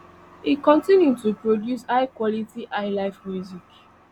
e continue to produce highquality highlife music